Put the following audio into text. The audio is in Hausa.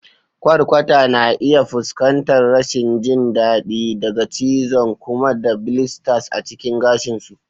Kwarkwata na iya fuskantar rashin jin daɗi daga cizon ƙuma da blisters a cikin gashin su.